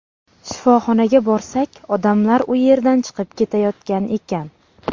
Shifoxonaga borsak, odamlar u yerdan chiqib ketayotgan ekan.